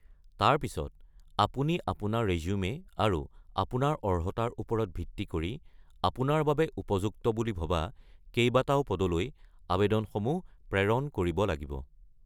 তাৰ পিছত আপুনি আপোনাৰ ৰেজ্যুমে আৰু আপোনাৰ অৰ্হতাৰ ওপৰত ভিত্তি কৰি আপোনাৰ বাবে ভাল হ’ব বুলি ভবা কেইবাটাও পদলৈ আবেদনসমূহ প্ৰেৰণ কৰিব লাগিব।